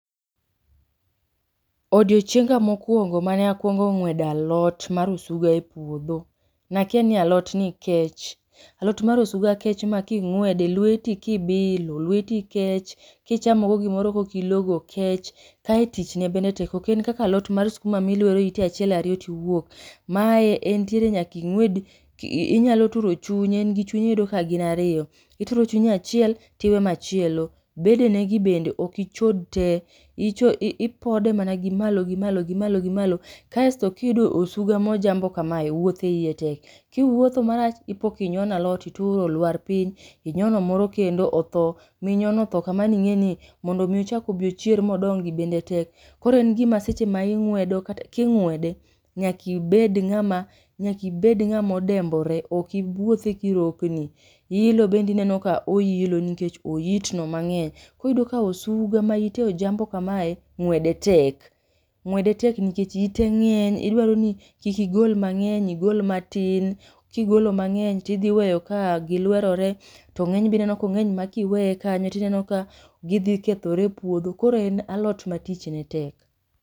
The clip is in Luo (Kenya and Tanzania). Odiochienga mokuongo mane akuongo ng'wede alot mar osuga e puodho ne akia ni alot ni kech, alot mar osuga kech ma king'wede lweti kibilo, lweti kech, ka ichamo go gimoro ka ok ilogo kech kae tichne bende tek ok en kaka alot mar skuma ma ilwero ite achiel ariyo to iwuok. Mae entiere nyaka ing'wed inyalo turo chunye, en gi chunye iyudo ka gin ariyo, iture chunye achiel to iwe machielo. Bedene gi bende ok ichod te, icho i ipode mana gi malo gi malo gi malo gi malo, kasto ka iyudo osuga ma ojambo kamae, wuothe e ie tek, kiwuotho marach ipo ka inyono alot ituro olwar piny, inyono moro kendo otho. Minyono otho ka mano ing'eni mondo m ochak obi ochier ma odongi bende tek. Koro en gima seche ma ing'wedo king'wede, nyaka ibed ng'ama nyaka ibed ng'ama odembore, ok iwuothi kirokni. Ilo nebde ineno ka oilo nikech oitno mang'eny. Koro iyudo ka osuga ma ite ojambo kamae ng'wede tek. ng'wede tek nikech ite ng'eny idwar ni kik igol mang'eny igol matin, kigolo mang'eny tidhi weyo ka gilwerore, to ng'eny be ineno ka ong'eny ma ka iweye kanyo tineno ka gidhi kethore e puodho. Koro en alot ma tich ne tek.